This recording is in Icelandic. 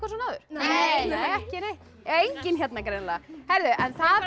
svona áður nei nei ekki neitt enginn hérna greinilega það er